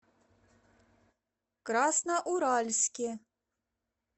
красноуральске